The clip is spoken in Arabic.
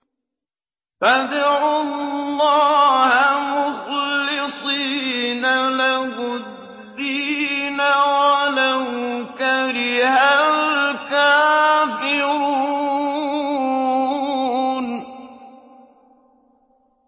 فَادْعُوا اللَّهَ مُخْلِصِينَ لَهُ الدِّينَ وَلَوْ كَرِهَ الْكَافِرُونَ